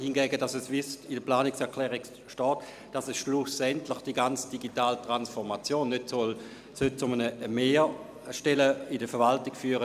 Hingegen sollte die ganze digitale Transformation, wie es in der Planungserklärung steht, schlussendlich nicht zu mehr Stellen in der Verwaltung führen.